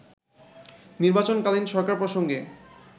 নির্বাচন কালীন সরকার প্রসঙ্গে